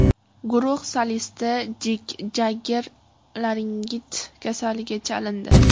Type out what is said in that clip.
Guruh solisti Mik Jagger laringit kasaliga chalindi.